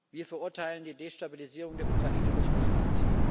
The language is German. Wir verurteilen die Destabilisierung der Ukraine durch Russland.